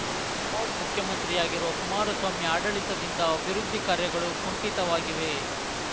remote ಮುಖ್ಯಮಂತ್ರಿಯಾಗಿರುವ ಕುಮಾರಸ್ವಾಮಿ ಆಡಳಿತದಿಂದ ಅಭಿವೃದ್ಧಿ ಕಾರ್ಯಗಳು ಕುಂಠಿತವಾಗಿವೆ